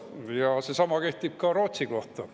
Ja seesama kehtib ka Rootsi kohta.